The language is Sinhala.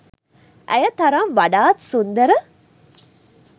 ඇය තරම් වඩාත් සුන්දර